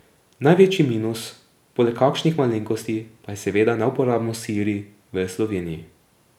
Največji minus, poleg kakšnih malenkosti, pa je seveda neuporabnost Siri v Sloveniji.